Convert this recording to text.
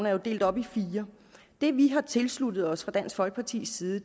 er delt op i fire det vi har tilsluttet os fra dansk folkepartis side